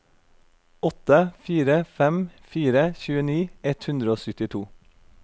åtte fire fem fire tjueni ett hundre og syttito